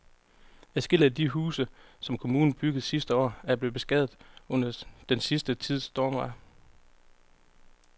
Adskillige af de huse, som kommunen byggede sidste år, er blevet beskadiget under den sidste tids stormvejr.